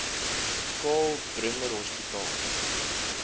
karl bremer hospitaal